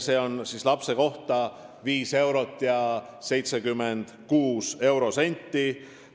See toetus on 5 eurot ja 76 eurosenti lapse kohta.